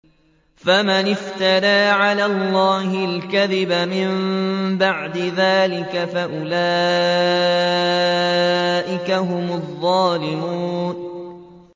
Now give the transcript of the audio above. فَمَنِ افْتَرَىٰ عَلَى اللَّهِ الْكَذِبَ مِن بَعْدِ ذَٰلِكَ فَأُولَٰئِكَ هُمُ الظَّالِمُونَ